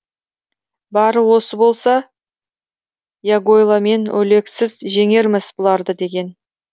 бары осы болса ягойло мен олегсіз жеңерміз бұларды деген